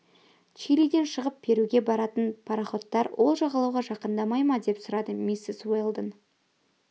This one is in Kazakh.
чилиден шығып перуге баратын пароходтар ол жағалауға жақындамай ма деп сұрады миссис уэлдон